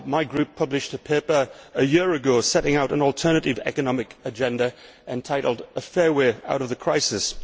My Group published a paper a year ago setting out an alternative economic agenda entitled A fair way out of the crisis'.